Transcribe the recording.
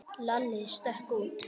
Lalli stökk út.